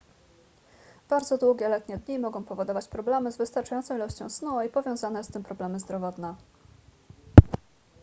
bardzo długie letnie dni mogą powodować problemy z wystarczającą ilością snu i powiązane z tym problemy zdrowotne